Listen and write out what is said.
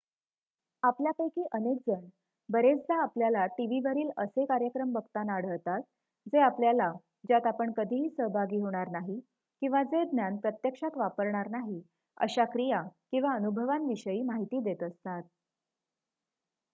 आपल्यापैकी अनेक जण बरेचदा आपल्याला टीव्हीवरील असे कार्यक्रम बघताना आढळतात जे आपल्याला ज्यात आपण कधीही सहभागी होणार नाही किंवा जे ज्ञान प्रत्यक्षात वापरणार नाही अशा क्रिया किंवा अनुभवांविषयी माहिती देत असतात